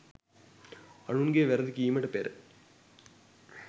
අනුන්ගේ වැරදි කීමට පෙර